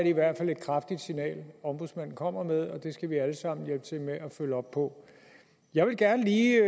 i hvert fald et kraftigt signal ombudsmanden kommer med og det skal vi alle sammen hjælpe til med at følge op på jeg vil gerne lige